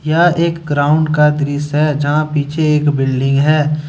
यह एक ग्राउंड का दृश्य है जहां पीछे एक बिल्डिंग है।